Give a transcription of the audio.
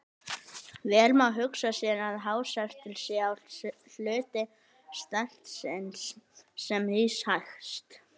Vel má hugsa sér að hástertur sé sá hluti stertsins sem rís hæst.